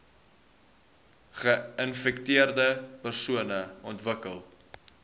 geinfekteerde persone ontwikkel